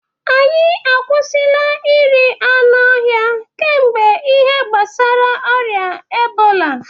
anyị akwụsịla iri anụ ọhịa kemgbe ihe gbasara ọrịa ebola